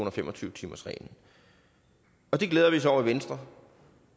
og fem og tyve timersreglen det glæder vi os over i venstre